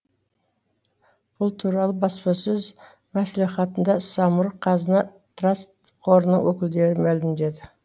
бұл туралы баспасөз мәслихатында самұрық қазына траст қорының өкілдері мәлімдеді